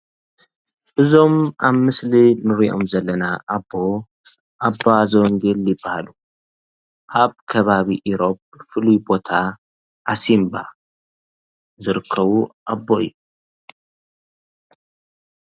እዞም አብ ምስሊ ንሪኦም ዘለና አቦ አባ ዘወንጀል ይበሃሉ። አብ ከባቢ ኢሮብ ፍሉይ ቦታ ዓሲምባ ዝርከቡ አቦ እዮም።